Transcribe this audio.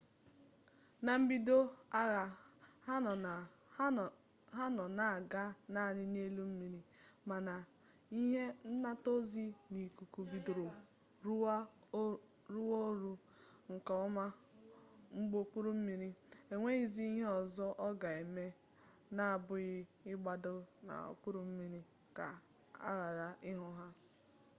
na mbido agha ha nọ na-aga naanị n'elu mmiri mana a ihe nnataozi n'ikuku bidoro rụwa ọrụ nke ọma ụgbọokpurummiri enweghizi ihe ọzọ ọ ga-eme n'abụghị ịgbada n'okpuru mmiri ka a ghara ịhụ ya